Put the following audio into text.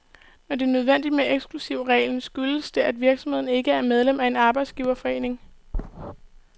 Når det er nødvendigt med eksklusivregler, skyldes det, at virksomheden ikke er medlem af en arbejdsgiverforening.